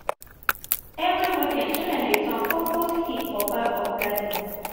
every weekend children dey turn compost heap for back of garden